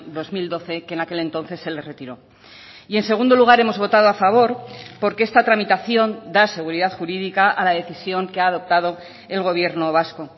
dos mil doce que en aquel entonces se le retiró y en segundo lugar hemos votado a favor porque esta tramitación da seguridad jurídica a la decisión que ha adoptado el gobierno vasco